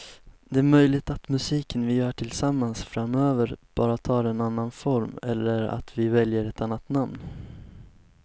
Det är möjligt att musiken vi gör tillsammans framöver bara tar en annan form eller att vi väljer ett annat namn.